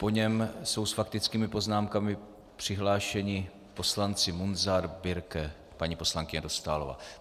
Po něm jsou s faktickými poznámkami přihlášeni poslanci Munzar, Birke, paní poslankyně Dostálová.